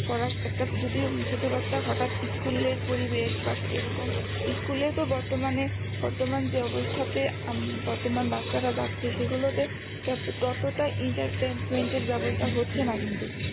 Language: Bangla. করা একটা যদি ছোটো বাচ্চা হঠাৎ ইস্কুলের পরিবেশ বা এরকম ইস্কুলেও তো বর্তমানে বর্তমান যে অবস্থাতে হম বর্তমান বাচ্চারা যাচ্ছে সেগুলোতে ততটা entertainment এর ব্যবস্থা হচ্ছেনা কিন্তু